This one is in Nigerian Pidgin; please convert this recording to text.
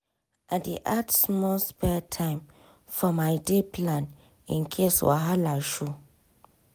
i dey add small spare time for my day plan in case wahala show.